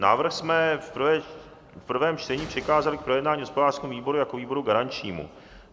Návrh jsme v prvém čtení přikázali k projednání hospodářskému výboru jako výboru garančnímu.